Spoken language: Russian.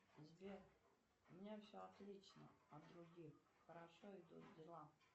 сбер у меня все отлично от других хорошо идут дела